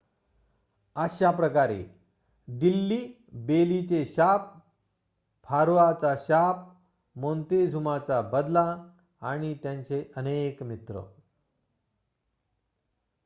अशाप्रकारे दिल्ली बेलीचे शाप फारोआचा शाप मोन्तेझुमाचा बदला आणि त्यांचे अनेक मित्र